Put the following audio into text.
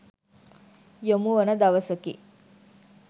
යොමුවන දවසකි.